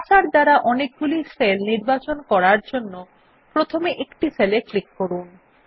cursor দ্বারা অনেকগুলি cell নির্বাচন করার জন্য প্রথমে একটি সেলে ক্লিক করুন